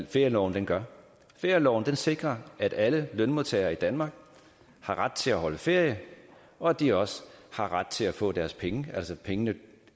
ferieloven gør ferieloven sikrer at alle lønmodtagere i danmark har ret til at holde ferie og at de også har ret til at få deres penge pengene